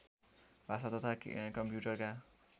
भाषा तथा कम्प्युटरका